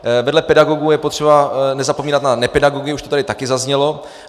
Vedle pedagogů je potřeba nezapomínat na nepedagogy, už to tady taky zaznělo.